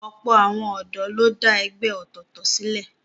Ọ̀pọ̀ àwọn ọ̀dọ́ ló dá ẹgbẹ́ ọ̀tọ̀ọ̀tọ̀ sílẹ̀